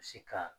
Se ka